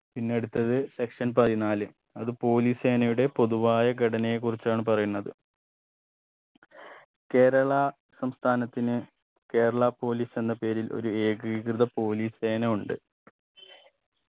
പിന്നെ അടുത്തത് Section പതിനാല് അത് police സേനയുടെ പൊതുവായ ഘടനയെ കുറിച്ചാണ് പറയുന്നത് കേരള സംസ്ഥാനത്തിന് കേരള police എന്ന പേരിൽ ഒരു ഏകീകൃത police സേനയുണ്ട്